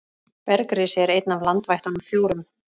Bergrisi er einn af landvættunum fjórum.